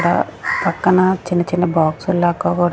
--డ పక్కన చిన్న చిన్న బాక్సులు లాక క--